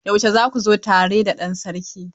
Yaushe za ku zo tare da ɗan Sarki?